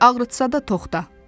Ağrıtsa da toxda.